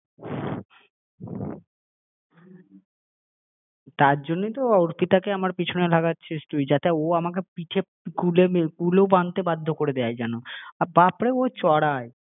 তোমারো তো দিন আসবে তখন তুমি শুধু দেখো তার জন্যই তো অর্পিতাকে আমার পিছনে লাগাচ্ছিস তুই হ্যাঁ যাতে ও আমাকে পিঠে ~কুল বানাতে বাধ্য করে দেয় যেন হ্যাঁ হ্যাঁ আর বাপরে ও চড়ায়